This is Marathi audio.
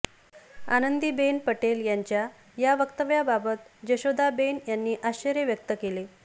आनंदीबेन पटेल यांच्या या वक्तव्याबाबत जशोदाबेन यांनी आश्चर्य व्यक्त केले